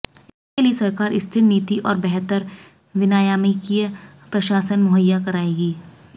इसके लिए सरकार स्थिर नीति और बेहतर विनियामकीय प्रशासन मुहैया कराएगी